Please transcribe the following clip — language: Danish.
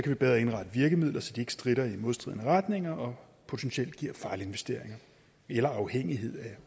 vi bedre indrette virkemidler så de ikke stritter i modstridende retninger og potentielt giver fejlinvesteringer eller afhængighed af